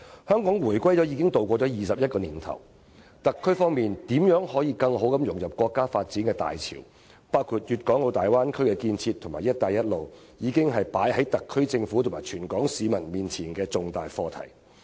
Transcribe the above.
香港回歸後已度過21年，特區如何更好地融入國家發展大潮，包括粵港澳大灣區建設和"一帶一路"，已成為擺在特區政府和全港市民面前的重大課題。